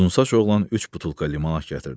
Yunsaç oğlan üç butulka limonad gətirdi.